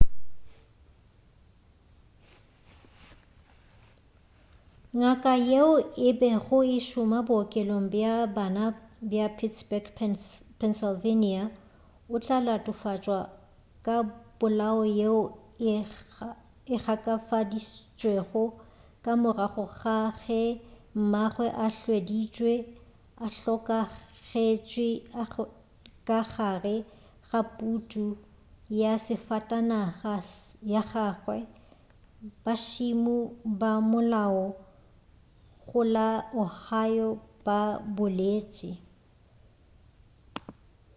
ngaka yeo e bego e šoma bookelong bja bana bja pittsburgh pennsylvania o tla latofatšwa ka polawo yeo e gakafaditšwego ka morago ga ge mmagwe a hweditšwe a hlokagetše ka gare ga putu ya safatanaga ya gagwe bašimo ba molao go la ohio ba boletši